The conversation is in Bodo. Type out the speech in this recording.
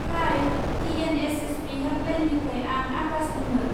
हाय! टि.एन.एच.एस.पि. हेल्पलाइननिफ्राय आं आकाश बुंदों।